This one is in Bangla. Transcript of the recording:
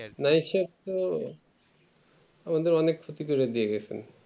মানে সব তো আমাদের অনেক ক্ষতি করে দিয়েগিয়েছে